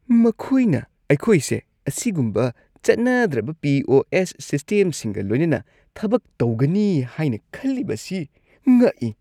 ꯃꯈꯣꯏꯅ ꯑꯩꯈꯣꯏꯁꯦ ꯑꯁꯤꯒꯨꯝꯕ ꯆꯠꯅꯗ꯭ꯔꯕ ꯄꯤ. ꯑꯣ. ꯑꯦꯁ. ꯁꯤꯁꯇꯦꯝꯁꯤꯡꯒ ꯂꯣꯏꯅꯅ ꯊꯕꯛ ꯇꯧꯒꯅꯤ ꯍꯥꯏꯅ ꯈꯜꯂꯤꯕꯁꯤ ꯉꯛꯏ꯫